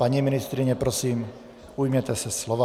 Paní ministryně, prosím, ujměte se slova.